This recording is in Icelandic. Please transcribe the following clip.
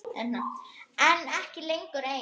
En ekki lengur ein.